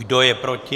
Kdo je proti?